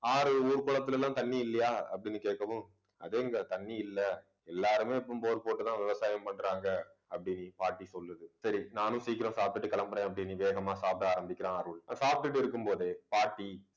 ஆறு ஊர் குளத்துல எல்லாம் தண்ணி இல்லையா அப்பிடின்னு கேட்கவும் அதே இங்க தண்ணி இல்ல. எல்லாருமே இப்பவும் bore போட்டு தான் விவசாயம் பண்றாங்க. அப்பிடின்னு பாட்டி சொல்லுது சரி நானும் சீக்கிரம் சாப்பிட்டுட்டு கிளம்புறேன் அப்பிடின்னு வேகமா சாப்பிட ஆரம்பிக்கிறான் அருள் சாப்பிட்டுட்டு இருக்கும் போதே பாட்டி